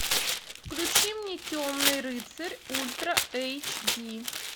включи мне темный рыцарь ультра эйч ди